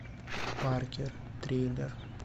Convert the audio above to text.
паркер триллер